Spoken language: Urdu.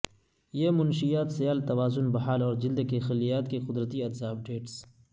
یہ منشیات سیال توازن بحال اور جلد کے خلیات کی قدرتی اجزاء اپ ڈیٹس